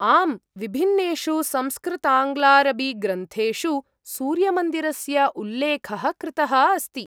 आम्, विभिन्नेषु संस्कृताङ्ग्लारबीग्रन्थेषु सूर्यमन्दिरस्य उल्लेखः कृतः अस्ति ।